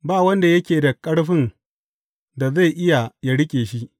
Ba wanda yake da ƙarfin da zai iya yă riƙe shi.